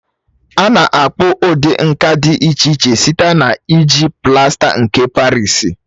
A na-akpụ ụdị nka dị iche iche site na-iji plasta nke Parịsi.